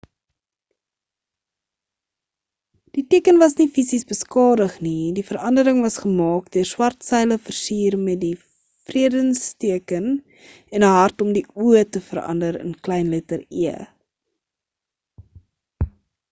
die teken was nie fisies beskadig nie die verandering was gemaak deur swart seile versier met die vredesteken en 'n hart om die o te verander in kleinletter e